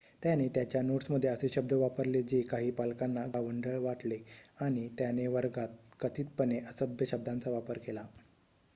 त्याने त्याच्या नोट्समध्ये असे शब्द वापरले जे काही पालकांना गावंढळ वाटले आणि त्याने वर्गात कथितपणे असभ्य शब्दांचा वापर केला